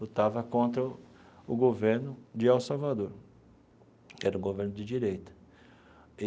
Lutava contra o governo de El Salvador, que era o governo de direita.